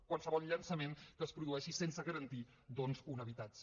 qualsevol llançament que es produeixi sense garantir doncs un habitatge